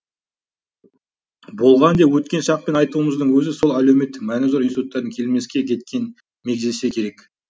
болған деп өткен шақпен айтуымыздың өзі сол әлеуметтік мәні зор институттардың келмеске кеткенін мегзесе керек